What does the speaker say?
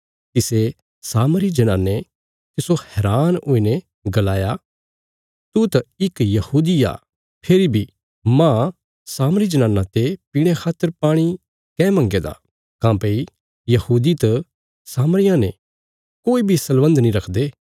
तिसे सामरी जनाने तिस्सो हैरान हुईने गलाया तू त इक यहूदी आ फेरी बी मांज सामरी जनाना ते पीणे खातर पाणी काँह मंगया दा काँह्भई यहूदी त सामरियां ने कोई बी सलबन्ध नीं रखदे